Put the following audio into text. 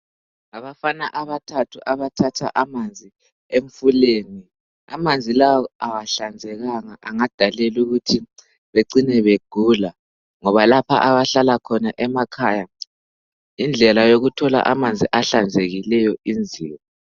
Ngabafana abathathu abathatha amanzi emfulweni. Amanzi lawo akahlanzekanga angadalela ukuthi becine begula ngoba lapho abahlala khona emakhaya indlela yokuthola amanzi ahlanzekileyo inzima.